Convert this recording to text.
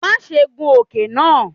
Maṣe gun oke naa!